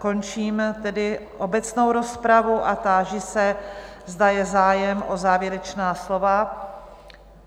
Končím tedy obecnou rozpravu a táži se, zda je zájem o závěrečná slova?